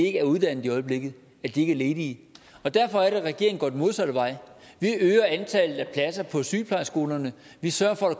ikke er uddannet i øjeblikket at de ikke er ledige derfor er det regeringen går den modsatte vej vi øger antallet af pladser på sygeplejeskolerne vi sørger for at